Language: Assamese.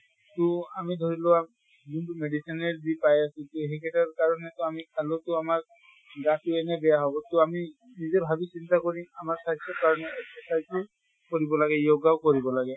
তʼ আমি ধৰি লোৱা যোনটো medicine য়েৰে জিপাই আছে, সেই কেইটাৰ কাৰণে তো আমি খালেও তো আমাৰ গাতো এনে বেয়া হʼব। ত আমি নিজে ভাবি চিন্তা কৰি আমাৰ স্বাস্থ্য়ৰ কাৰণে exercise ও কৰিব লাগে, yoga ও কৰিব লাগে।